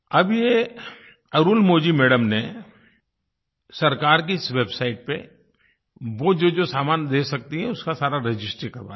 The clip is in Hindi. अब ये अरुलमोझी मैडम ने सरकार की इस वेबसाइट पर वो जोजो सामान दे सकती हैं उसका सारा रजिस्ट्री करवा दी